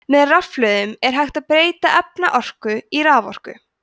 með rafhlöðum er hægt að breyta efnaorku í raforku